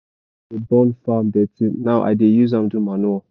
i stop to dey burn farm dirty now i dey use am do manure.